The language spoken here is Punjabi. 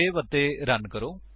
ਸੇਵ ਅਤੇ ਰਨ ਕਰੋ